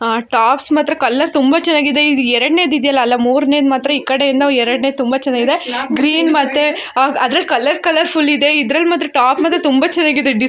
tops ಮಾತ್ರ colour ತುಂಬಾ ಚೆನ್ನಾಗಿದೆ ಇದ್ ಎರಡನೇದ್ ಇದೆಯಲ್ಲಾ ಅಲ್ಲಾ ಮೂರನೆದ್ ಮಾತ್ರ ಈಕಡೆಯಿಂದ ಎರಡನೇದ್ ತುಂಬಾ ಚೆನ್ನಾಗಿದೆ ಗ್ರೀನ್ ಮತ್ತೆ ಅಹ್ ಅದ್ರಲ್ಲ್ ಕಲರ್ ಕಾಲೌರ್ಫುಲ್ ಇದೆ ಇದ್ರಲ್ಲ್ ಮಾತ್ರ ಟಾಪ್ ಮಾತ್ರ ತುಂಬಾ ಚೆನ್ನಾಗಿದೆ ಡಿ--